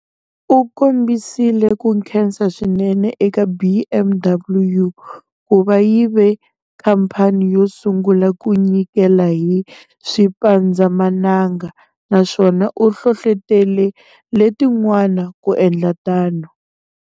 U kombisile ku khensa swinene eka BMW ku va yi ve khampa ni yo sungula ku nyikela hi swipandzamananga, naswona u hlohlotele letin'wana ku endla tano.